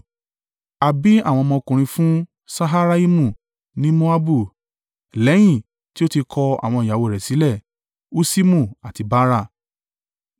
A bí àwọn ọmọkùnrin fún Ṣaharaimu ní Moabu lẹ́yìn tí ó ti kọ àwọn ìyàwó rẹ̀ sílẹ̀, Huṣimu àti Baara.